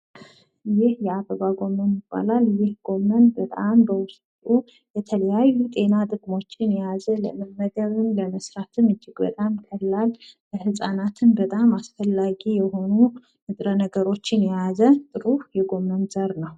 ይህ እየአበባ ጎመን ይባላል። ይህ ጎመን በውስጡ የተለያዩ ጤና ጥቅሞችን የያዘ ምግብም ለመስራትም እጅግ በጣም ቀላል እና በጣም አስፈላጊ የሆኑ ንጥረ ነገሮችን የያዘ ጥሩ የጎመን ዘር ነው።